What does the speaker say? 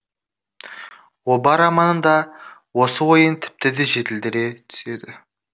оба романында осы ойын тіпті де жетілдіре түседі